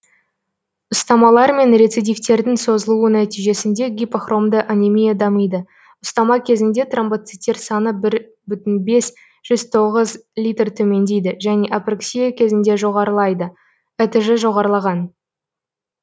ұстамалар мен рецидивтердің созылуы нәтижесінде гипохромды анемия дамиды ұстама кезінде тромбоциттер саны бір бүтін бес жүз тоғыз литр төмендейді және апрексия кезінде жоғарлайды этж жоғарлаған